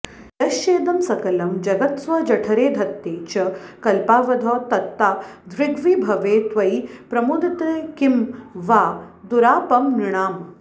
यश्चेदं सकलं जगत्स्वजठरे धत्ते च कल्पावधौ तत्तादृग्विभवे त्वयि प्रमुदिते किं वा दुरापं नृणाम्